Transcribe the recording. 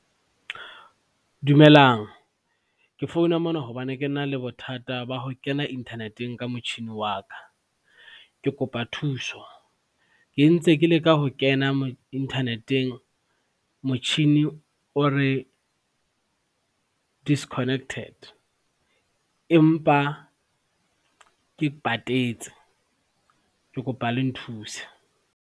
Dumelang ke founa mona hobane ke na le bothata ba ho kena internet-eng ka motjhini wa ka, ke kopa thuso. Ke ntse ke leka ho kena internet-eng, motjhini o re disconnected, empa ke patetse ke kopa le nthuse.